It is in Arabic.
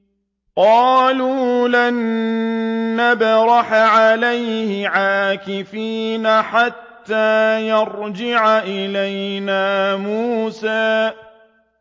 قَالُوا لَن نَّبْرَحَ عَلَيْهِ عَاكِفِينَ حَتَّىٰ يَرْجِعَ إِلَيْنَا مُوسَىٰ